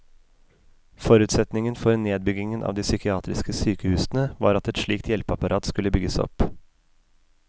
Forutsetningen for nedbyggingen av de psykiatriske sykehusene var at et slikt hjelpeapparat skulle bygges opp.